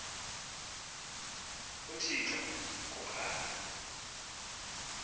uthixo ngo kholo